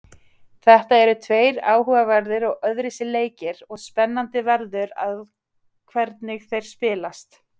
Þetta eru tveir áhugaverðir og öðruvísi leikir og spennandi verður að hvernig þeir spilast.